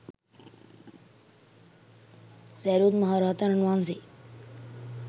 සැරියුත් මහරහතන් වහන්සේ